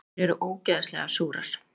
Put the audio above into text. Þær eru ógeðslega súrar.